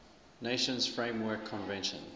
nations framework convention